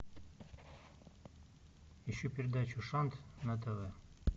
ищу передачу шант на тв